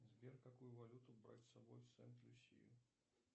сбер какую валюту брать с собой в сент люсию